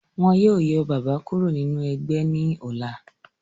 Wọ́n yó yọ bàbá kúrò nínú ẹgbẹ́ ní ọ̀la.